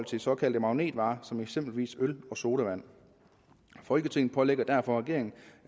til såkaldte magnetvarer som eksempelvis øl og sodavand folketinget pålægger derfor regeringen